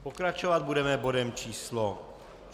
Pokračovat budeme bodem číslo